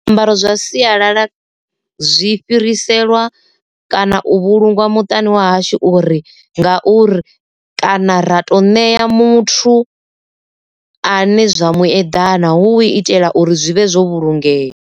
Zwiambaro zwa sialala zwi fhiriselwa kana u vhulungwa muṱani wa hashu uri ngauri kana ra to ṋea muthu a ne zwa mu eḓana hu u itela uri zwi vhe zwo vhulungeya.